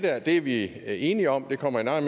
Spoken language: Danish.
af ja det er vi enige om og det kommer jeg